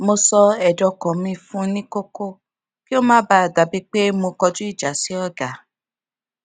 mo sọ ẹdun ọkan mi fun nikọkọ kí ó má bàa dà bíi pé mo kọjú ìjà sí ọga